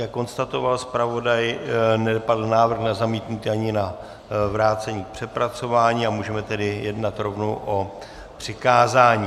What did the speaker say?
Jak konstatoval zpravodaj, nepadl návrh na zamítnutí ani na vrácení k přepracování, a můžeme tedy jednat rovnou o přikázání.